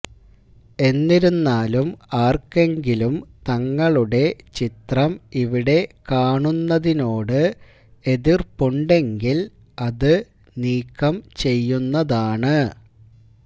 എന്നിരുന്നാലും ആര്ക്കെങ്കിലും തങ്ങളുടെ ചിത്രം ഇവിടെ കാണുന്നതിനോട് എതിര്പ്പുണ്ടെങ്കില് അത് നീക്കം ചെയ്യുന്നതാണ്